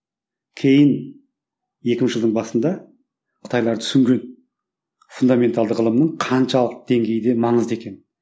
кейін екі мыңыншы жылдың басында қытайлар түсінген фундаменталды ғылымның қаншалықты деңгейде маңызды екенін